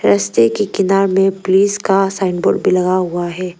रस्ते के किनार में पुलिस का साइनबोर्ड भी लगा हुआ है।